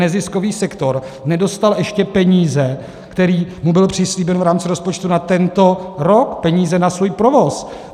Neziskový sektor nedostal ještě peníze, které mu byly přislíbeny v rámci rozpočtu na tento rok, peníze na svůj provoz.